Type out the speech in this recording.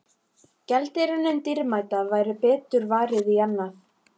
Gjaldeyrinum dýrmæta væri betur varið í annað.